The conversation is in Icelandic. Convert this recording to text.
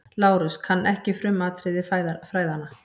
LÁRUS: Kann ekki frumatriði fræðanna.